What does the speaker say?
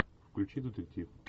включи детектив